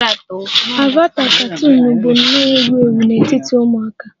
Avata katuunu bụ nnọọ ewu ewu n'etiti ụmụaka